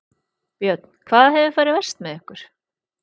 Björn: Hvað hefur farið verst með ykkur?